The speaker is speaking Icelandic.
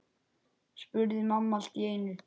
spurði mamma allt í einu.